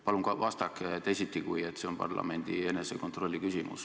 Palun vastake teisiti, kui et see on parlamendi enesekontrolli küsimus.